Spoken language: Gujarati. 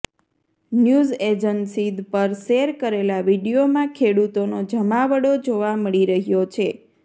ન્યૂઝ એજન્સી પર શેર કરેલા વીડિયોમાં ખેડૂતોનો જમાવડો જોવા મળી રહ્યો છે